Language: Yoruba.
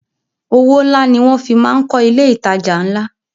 Owó ńlá ni wọn fi máa ń kọ ilé ìtajà ńlá